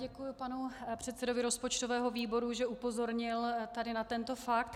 Děkuju panu předsedovi rozpočtového výboru, že upozornil tady na tento fakt.